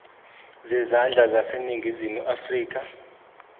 zezandla zaseningizimu afrika